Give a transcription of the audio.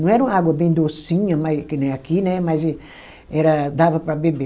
Não era uma água bem docinha mas, que nem aqui, né, mas era dava para beber.